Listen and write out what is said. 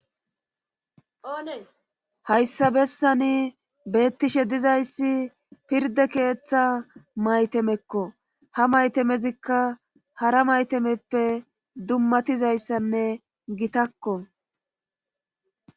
hayssabessani beettishe dizayssi pirde keeththa maytemekko ha maytemezikka hara maytameppe dummatizayssanne gitakko